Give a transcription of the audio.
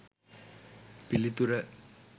පිළිතුර